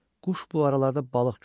Quş bu aralarda balıq görüb.